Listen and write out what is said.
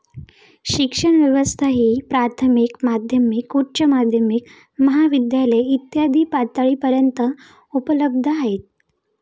शिक्षण व्यवस्था ही प्राथमिक, माध्यमिक, उच्च माध्यमिक, महाविद्यालय इत्यादी पातळीपर्यन्त उपलब्ध आहे.